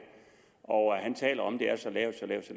og han taler om at det er så lavt så lavt